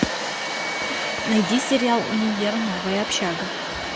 найди сериал универ новая общага